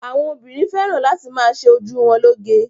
Àwọn obìnrin fẹ́ràn láti ma ṣe ojú wọn lóge.